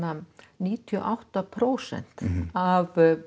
níutíu og átta prósent af